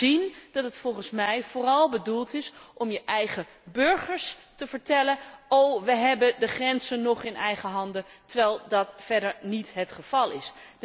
Dat laat zien dat het volgens mij vooral bedoeld is om je eigen burgers te vertellen 'oh, we hebben de grenzen nog in eigen handen', terwijl dat verder niet het geval is.